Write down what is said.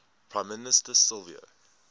prime minister silvio